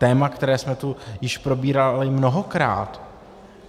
Téma, které jsme tu již probírali mnohokrát.